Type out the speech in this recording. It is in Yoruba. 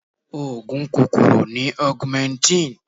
Oògùn kòkòrò ni augmentin.